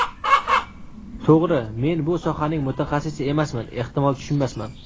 To‘g‘ri, men bu sohaning mutaxassisi emasman, ehtimol, tushunmasman.